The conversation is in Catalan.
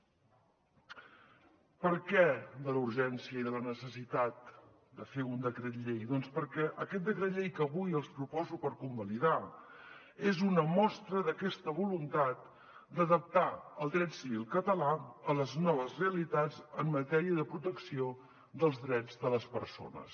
per què la urgència i la necessitat de fer un decret llei doncs perquè aquest decret llei que avui els proposo per convalidar és una mostra d’aquesta voluntat d’adaptar el dret civil català a les noves realitats en matèria de protecció dels drets de les persones